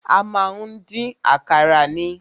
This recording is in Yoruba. A má ń dín àkàrà ni.